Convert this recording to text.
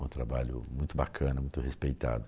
Um trabalho muito bacana, muito respeitado.